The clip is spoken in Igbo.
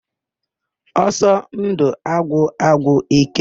Ọsọndụ agwụ agwụ íké.